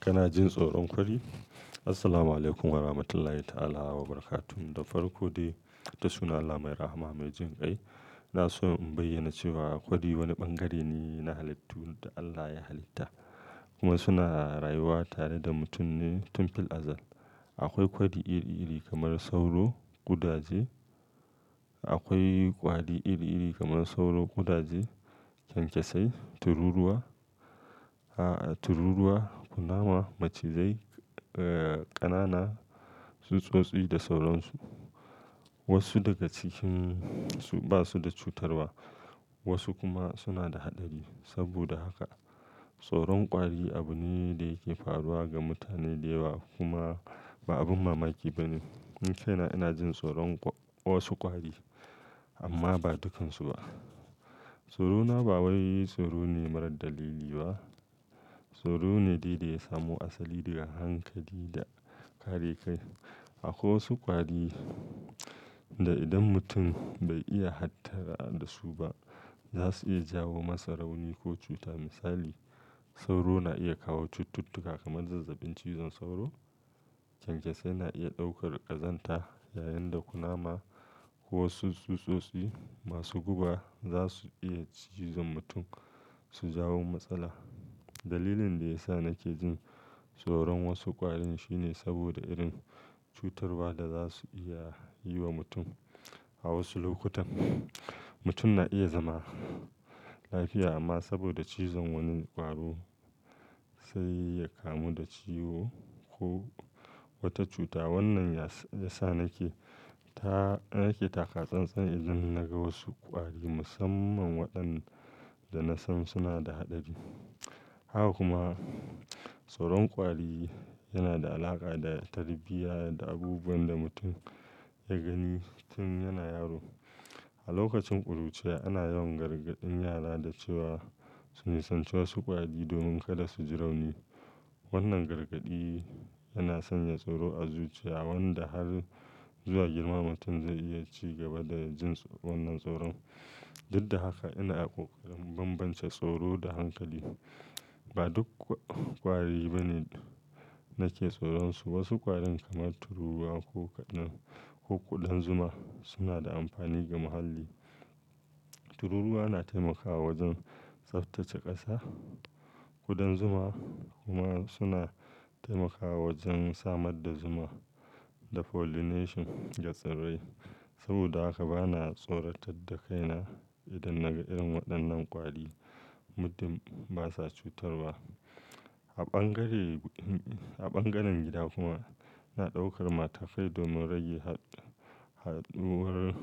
Kana jin tsoron kwari? Assalamualaikum warahmatullahi ta'ala wabarakatuh. Da farko dai, da sunan Allah mai rahama mai jin kai. Ina so in bayyana cewa kwadi wani bangare ne na halittu da Allah ya halitta kuma suna rayuwa tare da mutum ne tun fil azal. Akwai kwari iri-iri kamar sauro, ƙudaje, kenkesai, tururuwa, kunama, macizai, ƙanana, tsuntsotsi da sauran su. Wasu daga cikin su ba su da cutarwa, wasu kuma suna da haɗari. Saboda haka, tsoron kwari abu ne da yake faruwa ga mutane da yawa kuma ba abin mamaki ba ne. Ni kaina ina jin tsoron wasu kwari, amma ba dukansu ba. Tsoro na ba wai tsoro ne marar dalili ba, tsoro ne dai da ya samo asali daga hankali da kare kai. Akwai wasu kwari da idan mutum bai iya hattara da su ba, za su iya jawo masaloli ko cuta. Misali, sauro na iya kawo cututtuka kamar zazzabin cizon sauro, kenkesai na iya ɗaukar ƙazanta, yayin da kunama ko wasu tsuntsotsi masu guba za su iya cizon mutum su jawo matsala. Dalilin da ya sa nake jin tsoron wasu ƙwarin shine saboda irin cutarwa da za su iya yi wa mutum. A wasu lokutan, mutum na iya zama lafiya amma saboda cizon wani ƙwaro sai ya kamu da ciwo ko wata cuta. Wannan ya sa nake taka tsantsanin idan naga wasu ƙwari, musamman waɗanda nasan suna da haɗari. Haka kuma, tsoron kwari yana da alaƙa da tarbiyya da abubuwan da mutum ya gani tun yana yaro. A lokacin ƙuruciya ana yawan gargaɗin yara da cewa su nisanci wasu kwari domin kada su ji rauni. Wannan gargaɗi yana sanya tsoro a zuciya wanda har zuwa girma mutum zai iya ci gaba da jin wannan tsoron. Duk da haka, ina ƙoƙarin bambance tsoro da hankali. Ba duk ƙwari ba ne nake tsoron su. Wasu ƙwarin kamar tururuwa ko kuɗan zuma suna da amfani ga muhalli. Tururuwa na taimakawa wajen tsaftace ƙasa, kuɗan zuma kuma suna taimakawa wajen samar da zuma da pollination ga tsirrai. Saboda haka bana tsoratar da kaina idan naga irin waɗannan kwari, muddin basa cutarwa. A bangaren gida kuma, ina ɗaukar matakai domin rage haɗuwar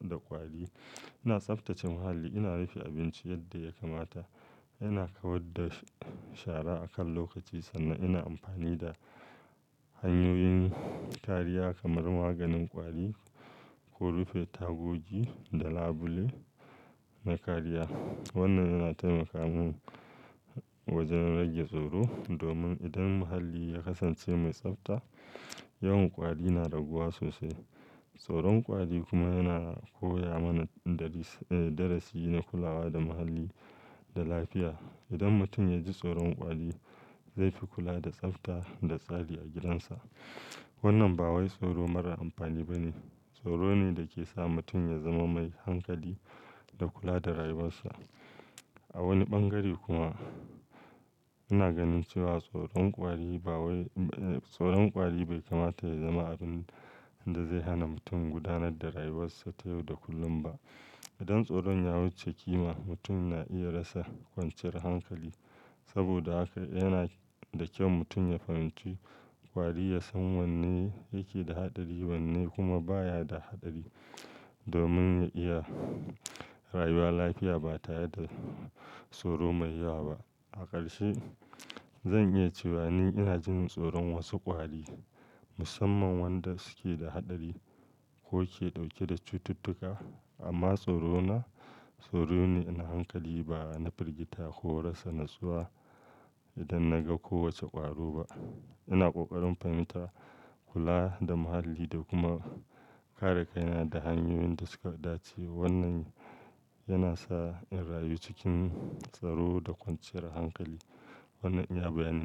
da kwari. Ina tsaftace muhalli, ina rufe abinci yadda ya kamata, ina kawar da shara akan lokaci sannan ina amfani da hanyoyin kariya kamar maganin ƙwari ko rufe tagogi da labule na kariya. Wannan yana taimaka mun wajen rage tsoro, domin idan muhalli ya kasance mai tsafta, yawan ƙwari na raguwa sosai. Tsoron kwari kuma yana koya mana darasi na kulawa da muhalli da lafiya. Idan mutum ya ji tsoron ƙwari, zai fi kula da tsafta da tsari a gidansa. Wannan ba wai tsoro mara amfani ba ne, tsoro ne da ke sa mutum ya zama mai hankali da kula da rayuwarsa. A wani bangare kuma, ina ganin cewa tsoron ƙwari bai kamata ya zama abin da zai hana mutum gudanar da rayuwarsa ta yau da kullum ba. Idan tsoron ya wuce ƙima, mutum na iya rasa kwanciyar hankali. Saboda haka yana da kyau mutum ya fahimci ƙwari, ya san wanne yake da haɗari wanne kuma baya da haɗari domin ya yi rayuwa lafiya ba tare da tsoro mai yawa ba. A ƙarshe, zan iya cewa ni ina jin tsoron wasu ƙwari, musamman wanda suke da haɗari ko ke ɗauke da cututtuka. Amma tsorona tsoro ne na hankali, ba na firgita ko rasa natsuwa idan naga kowace ƙwaro ba. Ina ƙoƙarin fahimta, kula da muhalli da kuma kare kaina da hanyoyin da suka dace. Wannan yana sa in rayu cikin tsaro da kwanciyar hankali. Wannan iya bayani na.